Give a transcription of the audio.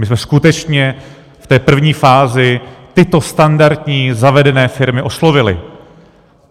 My jsme skutečně v té první fázi tyto standardní, zavedené firmy oslovili.